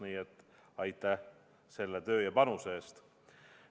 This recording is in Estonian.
Nii et aitäh selle töö ja panuse eest!